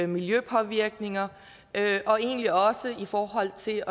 miljøpåvirkninger og egentlig også i forhold til